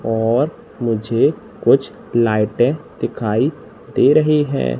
और मुझे कुछ लाइटें दिखाई दे रही है।